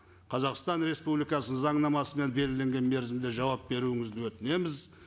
қазақстан республикасы заңнамасымен белгіленген мерзімде жауап беруіңізді өтінеміз